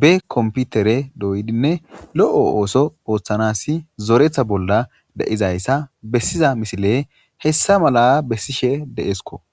be komputere doydinne lo7o ooso ooththanas zoretha bolla de7izayssa bessiza misile hessa mala bessishe deesko